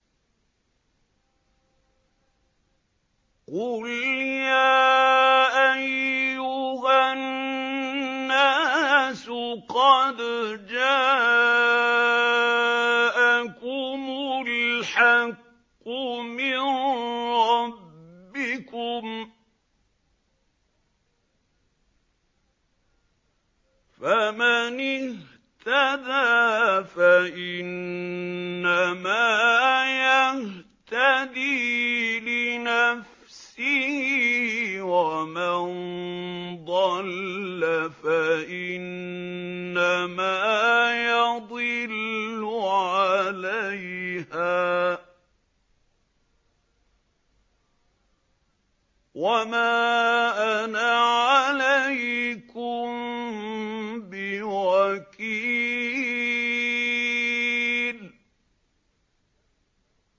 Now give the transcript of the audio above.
قُلْ يَا أَيُّهَا النَّاسُ قَدْ جَاءَكُمُ الْحَقُّ مِن رَّبِّكُمْ ۖ فَمَنِ اهْتَدَىٰ فَإِنَّمَا يَهْتَدِي لِنَفْسِهِ ۖ وَمَن ضَلَّ فَإِنَّمَا يَضِلُّ عَلَيْهَا ۖ وَمَا أَنَا عَلَيْكُم بِوَكِيلٍ